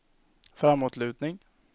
framåtlutning